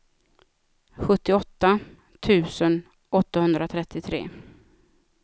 sjuttioåtta tusen åttahundratrettiotre